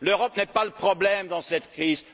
L'Europe ne constitue pas le problème dans cette